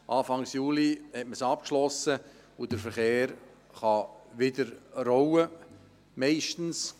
Anfang Juli schloss man sie ab, und der Verkehr kann wieder rollen.